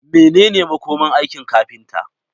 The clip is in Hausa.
Menene makomar aikin kafinta?